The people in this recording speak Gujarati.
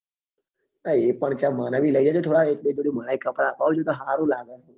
હા એ પણ છે મને બી લઇ આપજે થોડા એક બે જોડી મનેય કપડા અપાવજે તો સારું લાગે